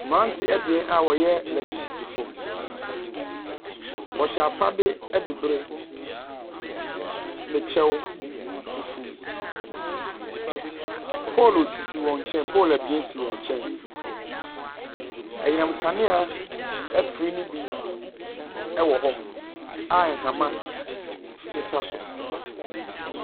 Mmerante abien a wɔyɛ electricity foɔ, wɔhyɛ afade adi bere ne kyɛw fufuw. Poolu sisi wɔn nkyɛn, poolu abien si wɔn nkyɛn. Anyina nkanea afiri no bi wɔ hɔ a nhoma sesa so.